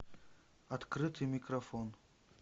открытый микрофон